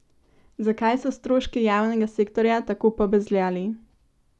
Zakaj so stroški javnega sektorja tako pobezljali?